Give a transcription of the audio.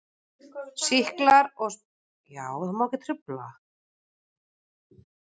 SÝKLAR OG SMITSJÚKDÓMAR